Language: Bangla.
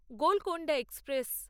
গোলকোন্ডা এক্সপ্রেস